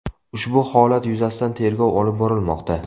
Ushbu holat yuzasidan tergov olib borilmoqda.